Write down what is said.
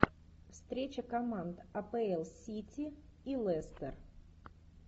встреча команд апл сити и лестер